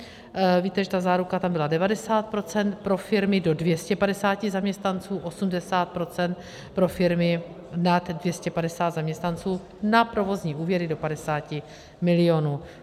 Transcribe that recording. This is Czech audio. Víte, že ta záruka tam byla 90 % pro firmy do 250 zaměstnanců, 80 % pro firmy nad 250 zaměstnanců na provozní úvěry do 50 milionů.